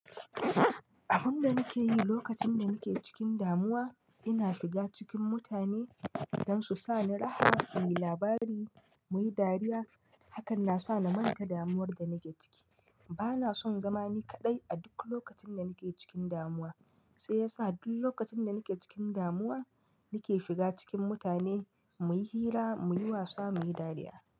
Abin da nake yi lokacin da nake cikin damuwa, ina shiga cikin mutane don su sa ni raha, muyi labari, muyi dariya. Hakan na sa na manta damuwar da nake ciki. Bana son zama ni kaɗai a duk lokacin da nake cikin damuwa. Sai yasa duk lokacin da nake cikin damuwa, nake shiga cikin mutane muyi hira, muyi wasa, muyi dariya.